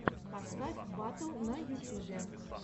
поставь батл на ютюбе